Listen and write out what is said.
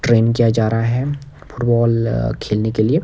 Train किया जा रहा है फुटबॉल खेलने के लिए।